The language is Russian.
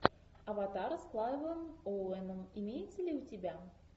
аватар с клайвом оуэном имеется ли у тебя